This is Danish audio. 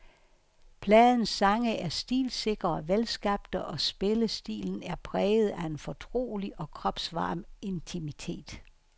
Pladens sange er stilsikre og velskabte, og spillestilen er præget af en fortrolig og kropsvarm intimitet.